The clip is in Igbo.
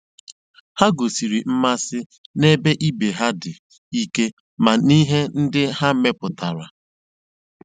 Ha gosiri mmasị na-ebe ibe ha dị ike na n'ihe ndị ha mepụtara.